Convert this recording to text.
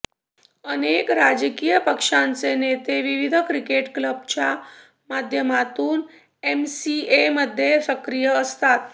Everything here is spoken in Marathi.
अनेक राजकीय पक्षांचे नेते विविध क्रिकेट क्लबच्या माध्यमातून एमसीएमध्ये सक्रिय असतात